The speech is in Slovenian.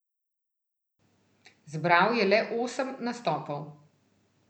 Zbral je le osem nastopov.